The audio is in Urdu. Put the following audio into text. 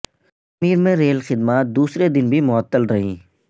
کشمیر میں ریل خدمات دوسرے دن بھی معطل رہیں